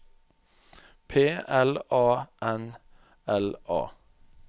P L A N L A